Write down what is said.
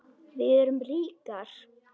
Við erum ríkar